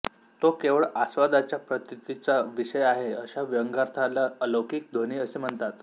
तो केवळ आस्वादाच्या प्रतीतीचा विषय आहे अशा व्यंग्यार्थाला अलौकिक ध्वनि असे म्हणतात